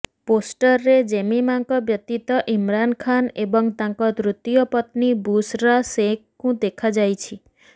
ପୋଷ୍ଟରରେ ଜେମିମାଙ୍କ ବ୍ୟତୀତ ଇମରାନ ଖାନ୍ ଏବଂ ତାଙ୍କ ତୃତୀୟ ପତ୍ନୀ ବୁଶରା ଶେଖଙ୍କୁ ଦେଖାଯାଇଛି